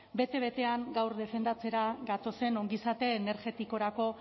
bete betean gaur defendatzera gatozen ongizate energetikorako